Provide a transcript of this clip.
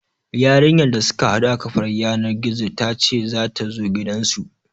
Yarinyar da suka haɗu a kafar yanar gizo ta ce za ta zo gidansu.